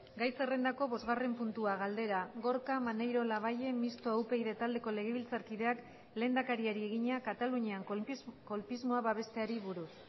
gai zerrendako bosgarren puntua galdera gorka maneiro labayen mistoa upyd taldeko legebiltzarkideak lehendakariari egina katalunian kolpismoa babesteari buruz